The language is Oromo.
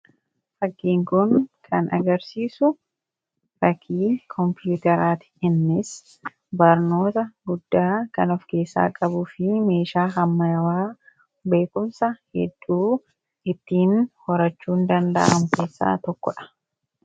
Fakkiin kun kan agarsiisu fakkii kompiitaraati. Innis barnoota guddaa kan of keessaa qabuu fi meeshaa ammayyaa beekumsa hedduu ittiin horachuun danda'an keessaa tokkodha.